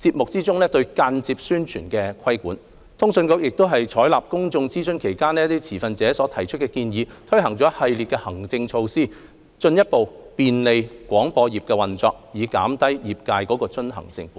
節目中對間接宣傳的規管；通訊局亦已採納公眾諮詢期間持份者所提出的建議，推行一系列行政措施，進一步便利廣播業運作，減低業界的遵行成本。